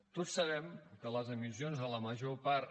tots sabem que les emissions de la major part